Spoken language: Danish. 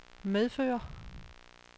medføre